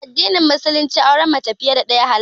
A addinin Musulunci auren mace fiye da ɗaya halas ne.